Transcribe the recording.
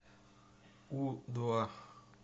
у два